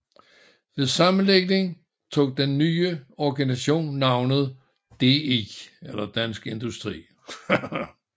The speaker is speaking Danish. Ved sammenlægningen tog den nye organisation navnet DI